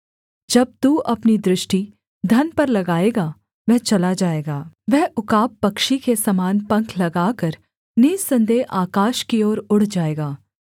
जब तू अपनी दृष्टि धन पर लगाएगा वह चला जाएगा वह उकाब पक्षी के समान पंख लगाकर निःसन्देह आकाश की ओर उड़ जाएगा